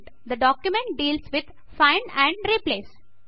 తే document deals with find and replace